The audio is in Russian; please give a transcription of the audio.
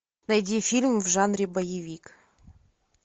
найди фильм в жанре боевик